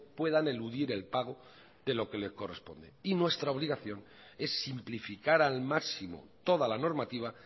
puedan eludir el pago de lo que le corresponde y nuestra obligación es simplificar al máximo toda la normativa